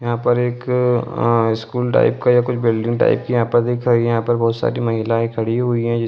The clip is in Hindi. यहाँ पर एक आं स्कूल टाइप या कुछ बिल्डिंग टाइप की दिख रही है | यहाँ पर बहुत सारी महिलाये खड़ी हुई है।